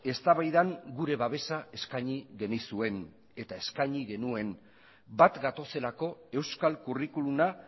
eztabaidan gure babesa eskaini genizuen eta eskaini genuen bat gatozelako euskal curriculuma